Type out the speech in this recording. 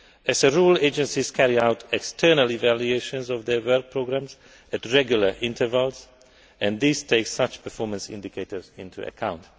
As a rule, agencies carry out external evaluations of their work programmes at regular intervals, and these take such performance indicators into account.